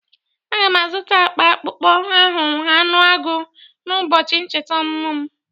A ga m azụta akpa akpụkpọ ahụ anụ agụ n'ụbọchị ncheta ọmụmụ m